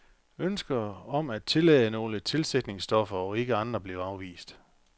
Ønsker om at tillade nogle tilsætningsstoffer og ikke andre blev afvist.